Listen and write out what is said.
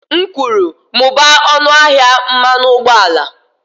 M kwuru, mụbaa ọnụ ahịa mmanụ ụgbọala